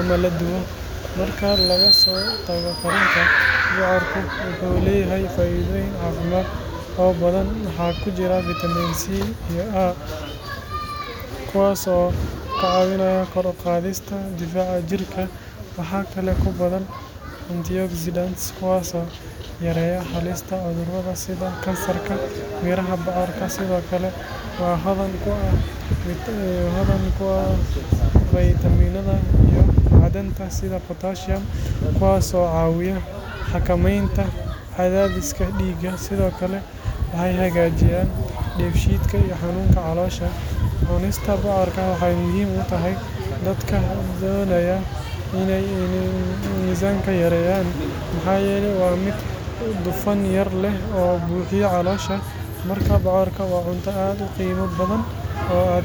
ama la dubo. Marka laga soo tago karinta, bocorka wuxuu leeyahay faa’iidooyin caafimaad oo badan. Waxaa ku jira fiitamiin C iyo A, kuwaas oo ka caawiya kor u qaadista difaaca jirka. Waxa kale oo ku badan antioxidants kuwaas oo yareeya halista cudurrada sida kansarka. Miraha bocorka sidoo kale waa hodan ku ah faytamiinada iyo macdanta sida potassium, kuwaas oo caawiya xakamaynta cadaadiska dhiigga. Sidoo kale waxay hagaajiyaan dheefshiidka iyo xanuunka caloosha. Cunista bocorka waxay muhiim u tahay dadka doonaya iney miisaanka yareeyaan maxaa yeelay waa mid dufan yar leh oo buuxiya caloosha. Marka, bocorka waa cunto aad u qiimo badan oo aad si sahlan ugu dari karto cuntadaada maalinlaha ah.